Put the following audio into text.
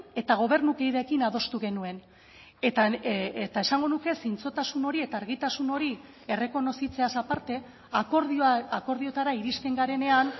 eta gobernukideekin adostu genuen eta esango nuke zintzotasun hori eta argitasun hori errekonozitzeaz aparte akordioetara iristen garenean